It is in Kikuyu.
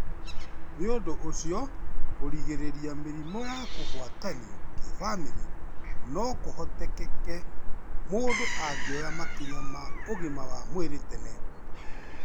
Nĩ ũndũ ũcio, kũrigĩrĩria mĩrimũ ya kũgwatanio kĩbamĩrĩ no kũhoteke mũndũ angĩoya makinya ma ũgima wa mwĩrĩ tene.